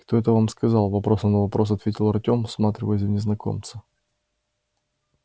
кто это вам сказал вопросом на вопрос ответил артем всматриваясь в незнакомца